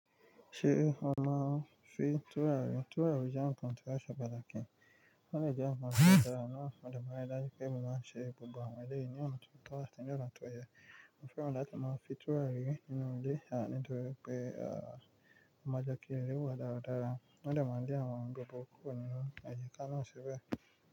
Ṣé ó máa ń fi tùràrí? Tùràrí jẹ́ bkan tí ó ṣe pàtàkì. Wọ́n dẹ̀ jẹ́ ǹkan tó dára náà, mo dẹ̀ máa ń rí dájú wípé mo máa ń ṣẹ gbogbo àwọn eléyìí ní ọ̀nà tó tọ́, àti ní ọ̀nà tó yẹ. Mo fẹ́ràn láti máa fín tùràrí nínú ilé, à nítorí pé a máa jẹ́ kín inú ilé wa dáradára. Wọ́n dẹ̀ máa dín àwọn gbogbo oko àyíká náà sì bẹ́ẹ̀.